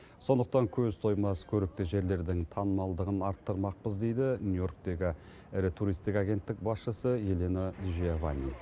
сондықтан көз тоймас көрікті жерлердің танымалдығын арттырмақпыз дейді нью йорктегі ірі туристік агенттік басшысы елена джиованни